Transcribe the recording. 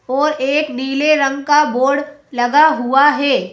और एक नीले रंग का बोर्ड लगा हुआ है।